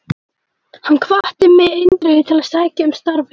Hann hvatti mig eindregið til að sækja um starfið.